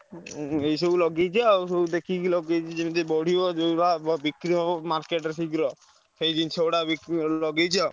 ଆଁ ଏଇସବୁ ଲଗେଇଛି ଆଉ ସବୁ ଲଗେଇଛି ଦେଖିକି ଯେମତି ବଢିବ ଯୋଉଗୁଡା market ରେ ଶୀଘ୍ର ସେଇଜିନିଷ ଗୁଡା ଲଗେଇଛି ଆଉ।